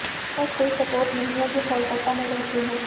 मेरे पास कोई सपोर्ट नहीं है जो कोलकाता में रहते हों